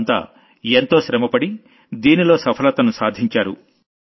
వాళ్లంతా ఎంతో శ్రమపడి దీనిలో సఫలతను సాధించారు